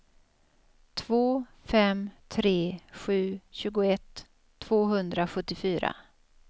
två fem tre sju tjugoett tvåhundrasjuttiofyra